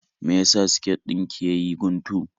Me ya sa siket din ki ya yi guntu?